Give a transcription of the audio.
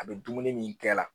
A bɛ dumuni min kɛ la